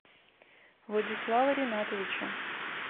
владислава ринатовича